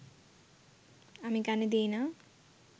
আমি কানে দিই না